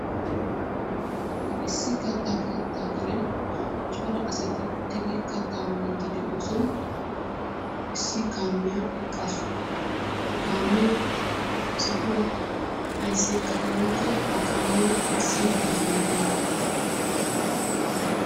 Issi katta keettaa karen cora asati uttidi kattaa miiddi de'iyosan issi kaamiya eqqasu. Ha kaamiya he sohuwan ayssi eqqadee woykko he kaamiyo essida izaawu oonee?